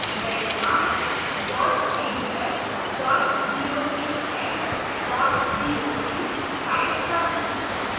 मैं यहाँ pdf docx doc type करूंगी